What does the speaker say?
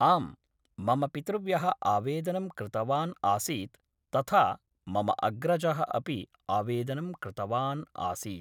आम् मम पितृव्य: आवेदनं कृतवान् आसीत् तथा मम अग्रज: अपि आवेदनं कृतवान् आसीत्